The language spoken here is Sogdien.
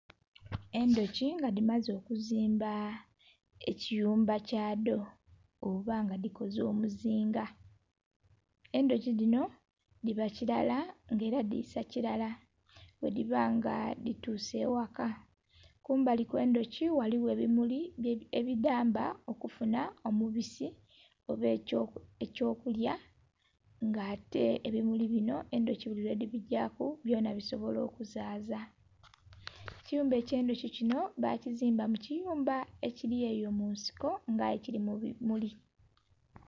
Endhuki nga dhimaze okuzimba ekiyumba kya dho oba nga dhikoze omuzinga. Endhuki dhino dhiba kilala nga ela dhiisa kilala bwe dhiba nga dhituuse eghaka. Kumbali kwe endhuki kuliku ebimuli ebidhamba okufunha omubisi oba eky'okulya nga ate ebimuli binho endhuki buli lwe dhi bigyaaku byona bisobola okuzaaza. Ekiyumba ekye endhuki kinho bakizimba mu kiyumba ekili eyo mu nsiko nga aye kili mu bimuli.